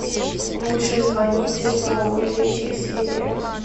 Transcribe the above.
лучше звоните солу третья серия